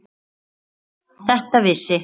Þetta vissi